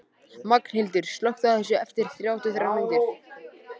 Magnhildur, slökktu á þessu eftir þrjátíu og þrjár mínútur.